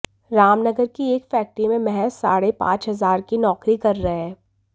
रामनगर की एक फैक्ट्री में महज साढ़े पांच हजार की नौकरी कर रहे हैं